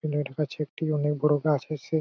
এখানে কাছে একটি অনেক বড়ো গাছে আছে।